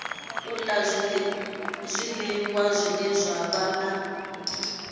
la zwiliwa zwine zwa vha